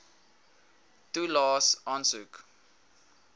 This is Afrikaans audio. toelaes aansoek